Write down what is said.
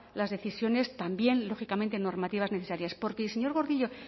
las decisiones también lógicamente normativas necesarias porque y señor gordillo